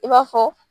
I b'a fɔ